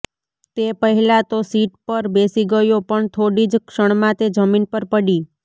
તે પહેલાં તો સીટ પર બેસી ગયો પણ થોડી જ ક્ષણમાં તે જમીન પર પડી